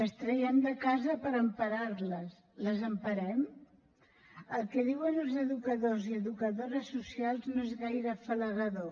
les traiem de casa per emparar les les emparem el que diuen els educadors i educadores socials no és gaire afalagador